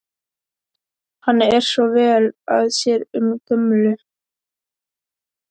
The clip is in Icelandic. Hann er svo vel að sér um gömlu